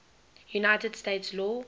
united states law